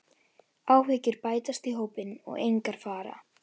Áhyggjur bætast í hópinn og engar fara.